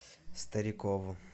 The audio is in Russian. старикову